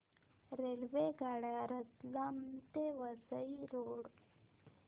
रेल्वेगाड्या रतलाम ते वसई रोड